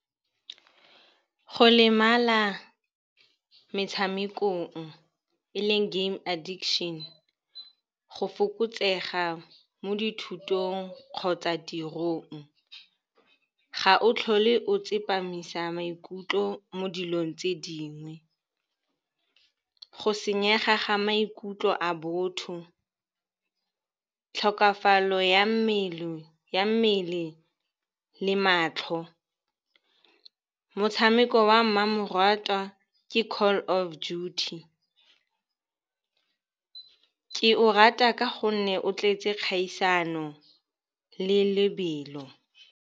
Go lemala metshamekong e leng game addiction, go fokotsega mo dithutong kgotsa tirong. Ga o tlhole o tsepamisa maikutlo mo dilong tse dingwe. Go senyega ga maikutlo a botho, tlhokafalo ya mmele le matlho. Motshameko wa mmamoratwa ke Call of Duty, ke o rata ka gonne o tletse kgaisano le lebelo.